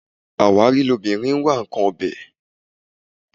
Àwárí ni obìnrin ń wá nǹkan ọbẹ̀